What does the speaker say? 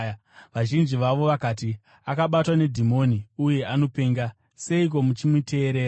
Vazhinji vavo vakati, “Akabatwa nedhimoni uye anopenga. Seiko muchimuteerera?”